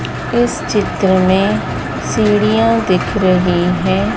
इस चित्र में सीढ़ियां दिख रही है।